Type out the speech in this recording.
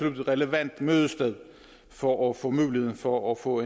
et relevant mødested for at få muligheden for at få